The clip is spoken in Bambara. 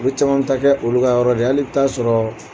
Olu caman bƐ taa kƐ olu ka yɔrɔ de ye hali bɛ taa sɔrɔ